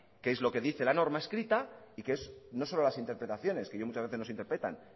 qué es lo que dice la norma escrita y qué es no solo las interpretaciones que ya muchas veces nos interpretan